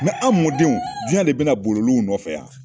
anw mɔdenw jiyɛn de bɛ na boli olu nɔfɛ yan.